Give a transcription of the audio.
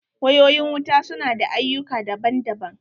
Wayoyi wuta su na da ayyuka daban daban.